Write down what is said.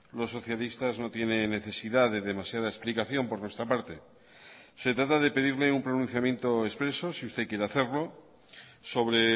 los socialistas no tienen necesidad de demasiada explicación por nuestra parte se trata de pedirle un pronunciamiento expreso si usted quiere hacerlo sobre